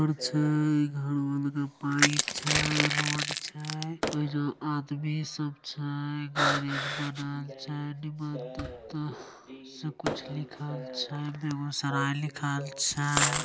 घर छै घरवा लागल पाइप छै | रोड छै और एगो आदमी सब छै | गैरज बनल छै निमन पता सब कुछ लिखल छै बेगूसराय लिखल छै |